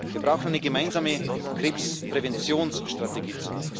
Wir brauchen zunächst eine gemeinsame Krebspräventionsstrategie.